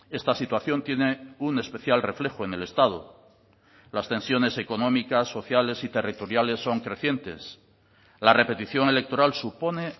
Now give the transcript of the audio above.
esta situación tiene un especial reflejo en el estado las tensiones económicas sociales y territoriales son crecientes la repetición electoral supone